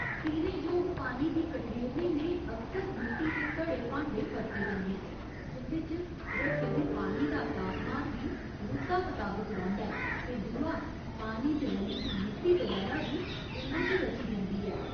पीने जोग पानी गी कठेरने लेई अक्सर मिट्टी दे घड़े भांडे बरते जंदे न, जिं'दे च रक्खे दे पानी दा तापमान बी रुत्ता मताबक रौंह्दा ऐ ते दूआ पानी च रली दी मिट्टी बगैरा बी इं'दे च रची जंदी ऐ।